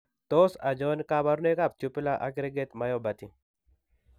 Tos achon kabarunaik ab tubular aggregate myopathy ?